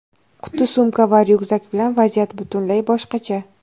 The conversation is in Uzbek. Quti-sumka va ryukzak bilan vaziyat butunlay boshqacha.